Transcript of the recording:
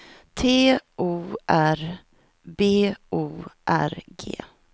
T O R B O R G